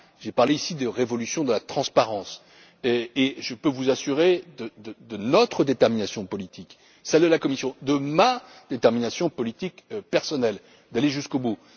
pas. J'ai parlé ici de révolution de la transparence, et je peux vous assurer de notre détermination politique, celle de la Commission, de ma détermination politique personnelle, à aller jusqu'au